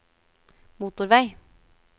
motorvei